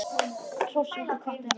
Hrósaði okkur og hvatti áfram.